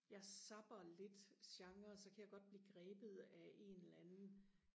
jeg zapper lidt genrer så kan jeg godt blive grebet af en eller anden